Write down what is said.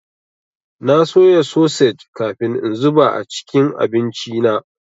Na soya sosej kafin in zuba a cikin abinci na.